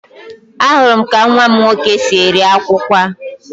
Ahụrụ m ka nwa m nwoke si eri akwukwo a